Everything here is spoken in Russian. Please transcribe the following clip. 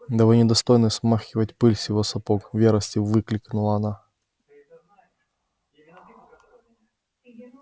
да вы не достойны смахнуть пыль с его сапог в ярости выкрикнула она